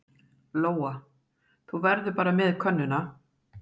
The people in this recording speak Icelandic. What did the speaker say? Lóa: Þú verður bara með könnuna?